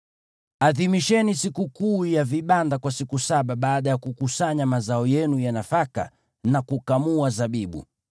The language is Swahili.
Adhimisheni sikukuu ya vibanda kwa siku saba baada ya kukusanya mazao yenu ya nafaka na kukamua zabibu.